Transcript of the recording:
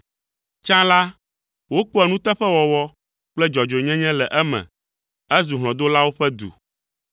Tsã la, wokpɔa nuteƒewɔwɔ kple dzɔdzɔenyenye le eme, ezu hlɔ̃dolawo ƒe du.